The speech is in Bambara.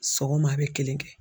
Sɔgɔma a bɛ kelen kɛ.